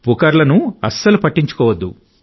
పుకార్లను పట్టించుకోవద్దు